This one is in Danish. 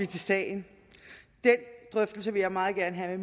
til sagen den drøftelse vil jeg meget gerne have